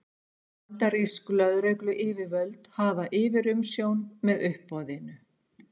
Bandarísk lögregluyfirvöld hafa yfirumsjón með uppboðinu